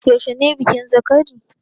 Yaushe ne bikin zakari?